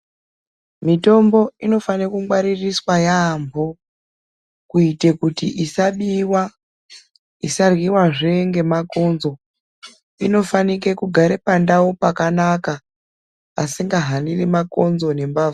Mitombo inofanirw kungwaririswe yambo kuitire kuti isabiwa isarwiwa zvengemakonzo inofanire kugara pandau pakanaka pasingahaniri makonzo nembavha.